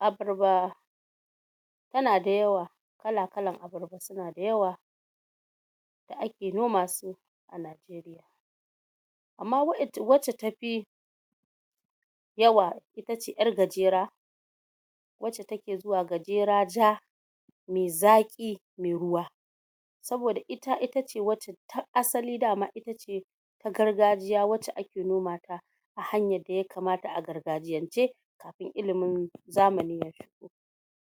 Abarba ta na da yawa, kala-kalan abarba su na da yawa ake noma su Amma waƴa, wacce tafi yawa, ita ce ƴar gajera wacce take zuwa gajera ja, mai zaƙi, mai ruwa. Saboda ita ita ce wa har asali dama na gargajiya wacce ake noma ta hanyar da ya kamata a gargajiyance. Ilimin zamani,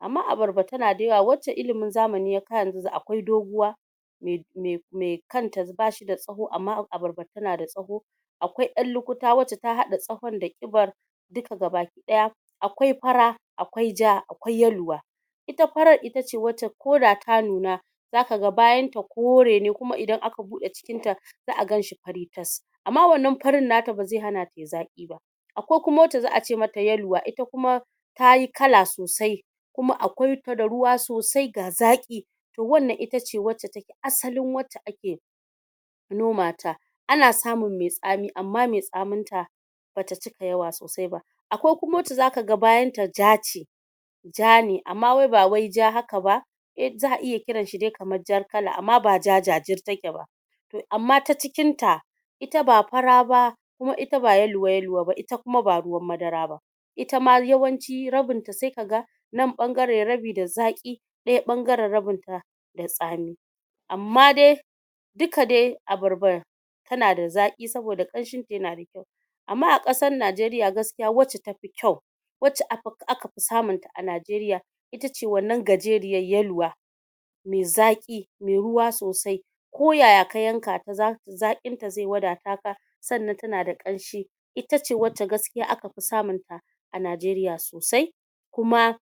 amma abarba ta na da yawa wacce ilimin zamani ya kawo yanzu akwai doguwa me me me, kan ta ba da tsawo, amma abarba ta na da tsawo. Akwai ɗan lukuta wacce ta haɗa tsawon da ƙibar duka ga baki ɗaya, akwai fara, akwai ja, akwai yaluwa. Ita farar ita ce koda ta nuna za ka ga bayan ta kore ne, kuma idan aka buɗe cikin ta za'a ganshi fari tas. Amma wannan farin na ta ba zai hana ta yi zaƙi. Akwai kuma wacce za'a ce ma ta yaluwa, ita kuma ta yi kala sosai kuma akwai ta da ruwa sosai, ga zaƙi. To wannan ita ce wacce take asalin wacce ake noma ta. Ana samun mai tsami, amma mai tsamin ta ba cika yawa sosai ba. Akwai kuma wacce za ka ga bayan ta ja ce ja ne, amma wai ba wai ja haka ba, eh za'a iya kiran shi dai kaman ja kala amma ba ja jajajir take ba. To amma ta cikin ta ita ba fara ba, kuma ita ba yaluwa-yaluwa ba, ita kuma ba ruwn madara ba. Ita ma yawanci rabin ta sai ka ga nan ɓangaren rabi da zaƙi ɗaya ɓangaren rabi da tsami. Amma da duka dai abarbar ta na da zaƙi saboda ƙanshin ta ya na. Amma a ƙasan Najeriya gaskiya wacce tafi kyau. Wacce aka fi samun ta a Najeriya ita ce wannan gajeriyar, yaluwa mai zaƙi, mai ruwa sosai. Ko yaya ka yanka ta za, zaƙin ta zai wadata ka sannan ta na da ƙanshi. Ita ce wacce gaskiya aka fi samun ta a Najeriya sosai. Kuma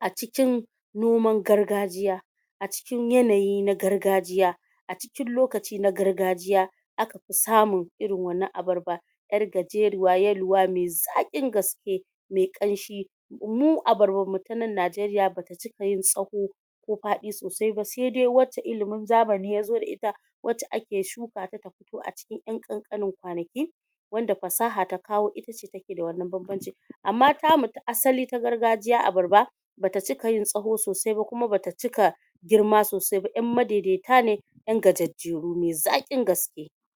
a cikin noman gargajiya, a cikin yanayin na gargajiya, a cikin lokaci na gargajiya aka fi samun irin wannan abarba. Ƴar gajeruwa, yaluwa, mai zaƙin gaske, mai ƙanshi. Mu abarbar mu ta nan Najeriya ba cika yin tsawo ko faɗi sosai ba, sai dai wacce ilimin zamani ya zo da ita, wacce ake shukata ta fito a cikin ƴan ƙanƙanin kwanaki. Wanda fasaha ta kawo ita ce ta ke da wannan bam-bancin. Amma ta mu ta asali ta gargajiya abarba ba ta cika yin tsawo sosai ba kuma ba ta ciki girma sosai ba, ƴan madai-daita ne ƴan gajejjeru mai zaƙin gaske.